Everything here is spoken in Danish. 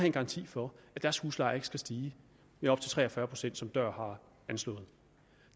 en garanti for at deres husleje ikke skal stige med op til tre og fyrre pct som dør har anslået